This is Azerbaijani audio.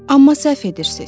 Amma səhv edirsiz.